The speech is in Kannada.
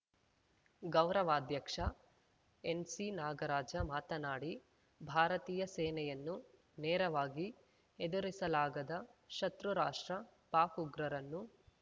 ಗೌರವಾಧ್ಯಕ್ಷ ಎನ್‌ಸಿನಾಗರಾಜ ಮಾತನಾಡಿ ಭಾರತೀಯ ಸೇನೆಯನ್ನು ನೇರವಾಗಿ ಎದುರಿಸಲಾಗದ ಶತೃ ರಾಷ್ಟ್ರ ಪಾಕ್‌ ಉಗ್ರರನ್ನು